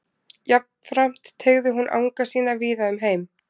Jafnframt teygði hún anga sína víða um heim.